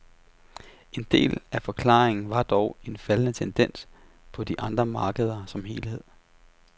En del af forklaringen var dog en faldende tendens på de andre markeder som helhed.